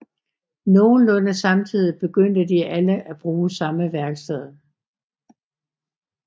Nogenlunde samtidig begyndte de alle at bruge samme værksted